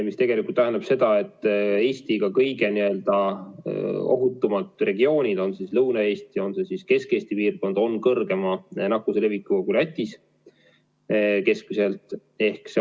See tegelikult tähendab seda, et Eesti ka kõige ohutumad regioonid, on see siis Lõuna-Eesti, on see Kesk-Eesti piirkond, on suurema nakkuse levikuga kui Lätis keskmiselt.